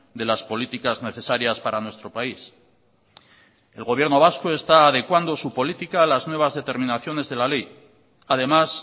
de las políticas necesarias para nuestro país el gobierno vasco está adecuando su política a las nuevas determinaciones de la ley además